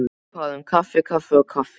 Hvað um kaffi kaffi og kaffi.